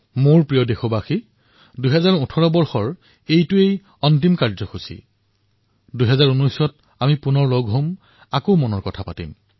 মোৰ মৰমৰ দেশবাসীসকল ২০১৮ চনৰ এয়া অন্তিমটো কাৰ্যসূচী ২০১৯ত পুনৰ লগ পাম পুনৰ মনৰ কথা কম